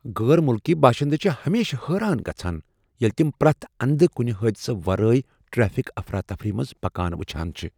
غٲر مٗلکی باشندٕ چھِ ہمیشہٕ حٲران گژھان ییلہِ تَم پریتھ اندٕ كٗنہِ حٲدِشہٕ ورٲیی ٹریفک افراتفری منٛز پكان وٗچھان چھِ ۔